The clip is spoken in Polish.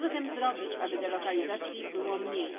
Co zatem zrobić, aby delokalizacji było mniej?